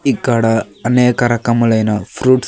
ఇక్కడ అనేక రకములైన ఫ్రూట్స్ .